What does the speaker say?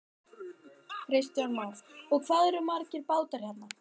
Kristján Már: Og hvað eru þá margir bátar hérna?